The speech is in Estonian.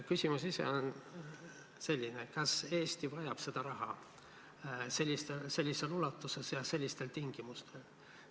Küsimus ise on selline: kas Eesti vajab seda raha sellises ulatuses ja sellistel tingimustel?